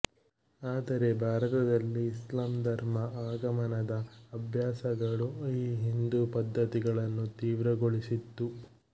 ಆದರೆ ಭಾರತದಲ್ಲಿ ಇಸ್ಲಾಂ ಧರ್ಮ ಆಗಮನದ ಅಭ್ಯಾಸಗಳು ಈ ಹಿಂದೂ ಪದ್ದತಿಗಳನ್ನು ತೀವ್ರಗೊಳಿಸಿತು